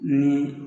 Ni